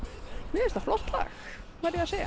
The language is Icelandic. mér finnst það flott lag verð ég að segja